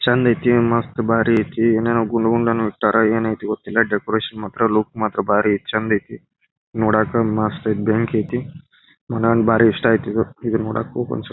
ಚಂದ್ ಐತಿ ಮಸ್ತ್ ಬಾರಿ ಐತಿ ಏನೇನೋ ಗುಂಡು ಗುಂಡನ್ನು ಇಟ್ಟಾರೆ ಏನೈತಿ ಗೊತ್ತಿಲ್ಲ ಡೆಕೋರೇಷನ್ ಮಾತ್ರ ಲುಕ್ ಮಾತ್ರ ಬಾರಿ ಚಂದ್ ಐತಿ ನೋಡಕೆ ಮಸ್ತ್ ಬೆಂಕಿ ಐತಿ ಮನೆಯವರಿಗೆ ಬಾರಿ ಇಷ್ಟ ಆಯಿತು ಇದು ಇದನ್ನ ನೋಡಕ ಹೋಗನ್ಸ್ತ.